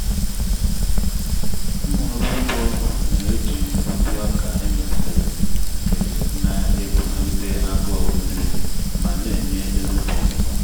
ụmụ ọrụ ugbo na-eji ụdị oka emelitere nke na-eguzogide agụụ nmiri ma na-enye ezigbo ụnụ.